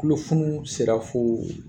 Tulofunuu sera fo